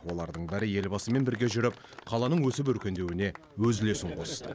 олардың бәрі елбасымен бірге жүріп қаланың өсіп өркендеуіне өз үлесін қосты